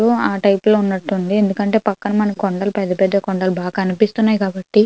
ఆ టైపు లో ఉన్నట్టు అయితే ఉన్నట్టు అనిపిస్తుంది. ఎందుకంటే ఇక్కడ పెద్ద పెద్ద కొండలు ఉన్నట్టు కనిపిస్తున్నాయి కాబట్టి--